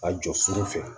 Ka jɔ sugu fɛ